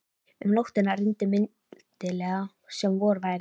Um nóttina rigndi mildilega sem vor væri.